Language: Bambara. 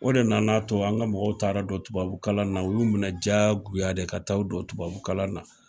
O de nana to an ka mɔgɔw taara don tubabukalan na, u y'u minɛ jagoya de ka taa u don tubabu kalan na.